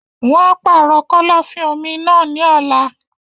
Wọn á pàrọ̀ kọ́lọ́fín-omi náà ní ọ̀la.